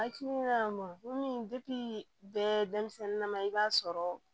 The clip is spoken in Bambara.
Hakilina ma komi bɛ denmisɛnnin na ma i b'a sɔrɔ